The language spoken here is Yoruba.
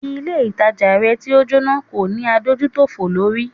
Ilé ìtajà rẹ̀ tí o Jóná kò ní adójútòfò lórí.